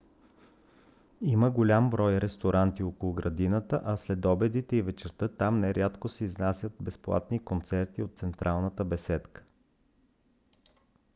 има голям брой ресторанти около градината а следобедите и вечерта там нерядко се изнасят безплатни концерти от централната беседка